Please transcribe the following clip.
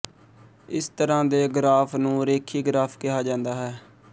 ਇਸਤਰ੍ਹਾਂ ਦੇ ਗਰਾਫ਼ ਨੂੰ ਰੇਖੀ ਗਰਾਫ਼ ਕਿਹਾ ਜਾਂਦਾ ਹੈ